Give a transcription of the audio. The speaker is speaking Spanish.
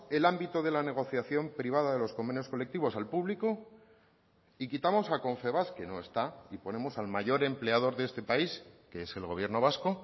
el ámbito de la negociación privada de los convenios colectivos al público y quitamos a confebask que no está y ponemos al mayor empleador de este país que es el gobierno vasco